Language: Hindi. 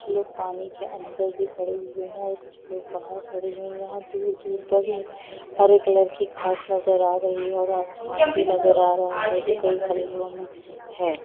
कुछ लोग पानी के अंदर भी खड़े हुए है और कुछ लोग बाहर खड़े हुए है यहाँ दूर-दूर पड़े हरे कलर की घास नज़र आ रही है और आसमान भी नजर आ रहा है जिन कई कलियों मे है ।